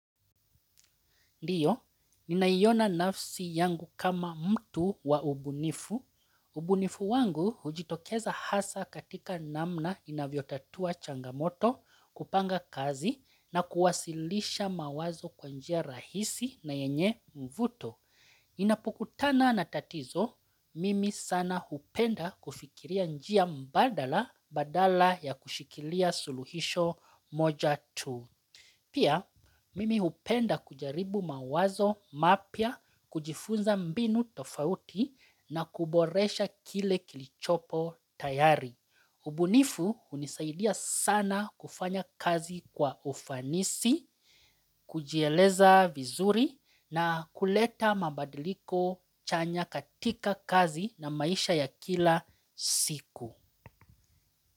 Ndiyo, naiona nafsi yangu kama mtu wa ubunifu. Ubunifu wangu hujitokeza hasa katika namna ninavyotatua changamoto, kupanga kazi na kuwasilisha mawazo kwa njia rahisi na yenye mvuto. Ninapukutana na tatizo, mimi sana hupenda kufikiria njia mbadala, badala ya kushikilia suruhisho moja tu. Pia, mimi hupenda kujaribu mawazo mapya, kujifunza mbinu tofauti na kuboresha kile kilichopo tayari. Ubunifu hunisaidia sana kufanya kazi kwa ufanisi, kujieleza vizuri na kuleta mabadiliko chanya katika kazi na maisha ya kila siku.